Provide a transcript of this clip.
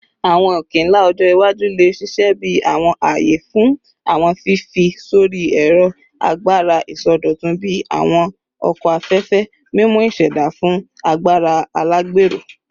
Awọn oke-nla ọjọ iwaju le ṣiṣẹ bi awọn aaye fun awọn fifi sori ẹrọ agbara isọdọtun bii awọn oko afẹfẹ, mimu iseda fun agbara alagbero